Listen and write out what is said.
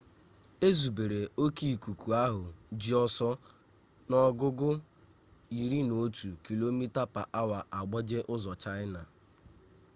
ezubere oke ikuku ahụ ji ọsọ n'ogugo 11kph agbaje ụzọ chaịna